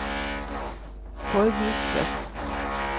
forbruksvekst